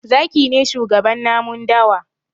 Zaki ne shugaban namun dawa.